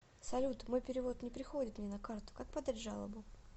салют мой перевод не приходит мне на карту как подать жалобу